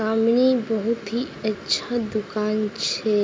सामने बहुत ही अच्छा दुकान छे।